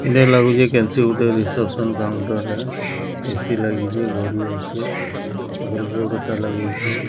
ଏଇଟା ଲାଗୁଚି ରିସେପ୍ସନ୍ କାଉଣ୍ଟରରେ ଏ_ସି ଲାଗିଚି ଘଡ଼ି ଅଛି ଆଗରେ ବୋର୍ଡ଼ଟା ଲାଗିଚି।